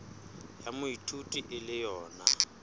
ya moithuti e le yona